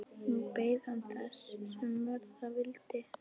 Nú beið hann þess, sem verða vildi.